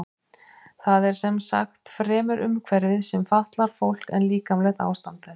Það er sem sagt fremur umhverfið sem fatlar fólk en líkamlegt ástand þess.